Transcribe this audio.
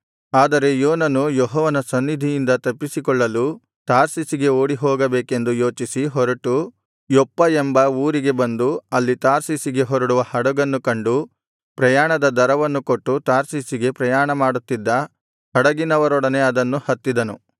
ಆದರೆ ಯೋನನು ಯೆಹೋವನ ಸನ್ನಿಧಿಯಿಂದ ತಪ್ಪಿಸಿಕೊಳ್ಳಲು ತಾರ್ಷೀಷಿಗೆ ಓಡಿಹೋಗಬೇಕೆಂದು ಯೋಚಿಸಿ ಹೊರಟು ಯೊಪ್ಪ ಎಂಬ ಊರಿಗೆ ಬಂದು ಅಲ್ಲಿ ತಾರ್ಷೀಷಿಗೆ ಹೊರಡುವ ಹಡಗನ್ನು ಕಂಡು ಪ್ರಯಾಣದ ದರವನ್ನು ಕೊಟ್ಟು ತಾರ್ಷೀಷಿಗೆ ಪ್ರಯಾಣಮಾಡುತ್ತಿದ್ದ ಹಡಗಿನವರೊಡನೆ ಅದನ್ನು ಹತ್ತಿದನು